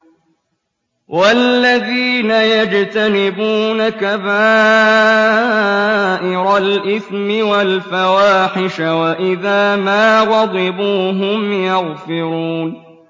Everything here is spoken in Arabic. وَالَّذِينَ يَجْتَنِبُونَ كَبَائِرَ الْإِثْمِ وَالْفَوَاحِشَ وَإِذَا مَا غَضِبُوا هُمْ يَغْفِرُونَ